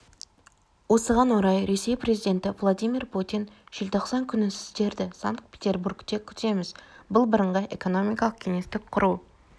осыған орай ресей президенті владимир путин желтоқсан күні сіздерді санкт-петербургте күтеміз бұл бірыңғай экономикалық кеңістік құру